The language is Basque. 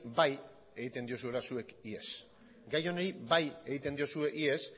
bai egiten diozuela zuek ihes gai honi bai egiten diozue ihes